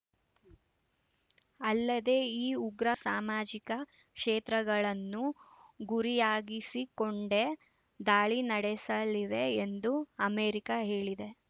ಅಲ್ಲದೆ ಈ ಉಗ್ರ ಸಾಮಾಜಿಕ ಕ್ಷೇತ್ರಗಳನ್ನು ಗುರಿಯಾಗಿಸಿಕೊಂಡೇ ದಾಳಿ ನಡೆಸಲಿವೆ ಎಂದು ಅಮೇರಿಕ ಹೇಳಿದೆ